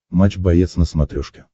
матч боец на смотрешке